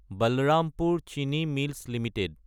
বলৰামপুৰ চিনি mills Ltd